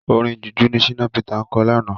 Orin Jùjú ni Shina Peter kọ lánàá.